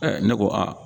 ne ko aa